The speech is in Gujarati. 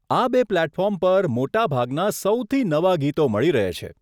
આ બે પ્લેટફોર્મ પર મોટા ભાગના સૌથી નવા ગીતો મળી રહે છે.